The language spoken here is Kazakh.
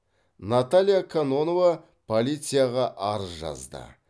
наталья кононова полицияға арыз жазды